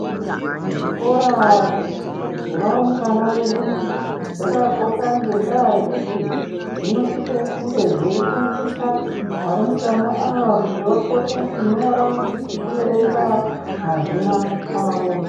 Zvikora zve varumbwana vedu zvakakosha ngenda yekuti zvinosisa kunge zvei shandisa varumbwana ava kuti vakone ku nyora ngeku erenga mazina avo.